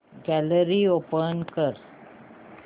gallery open कर